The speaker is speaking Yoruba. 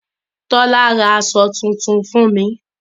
Tọ́lá ra bàtà tuntun fún mi.